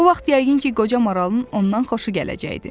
O vaxt yəqin ki, qoca maralın ondan xoşu gələcəkdi.